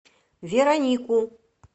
веронику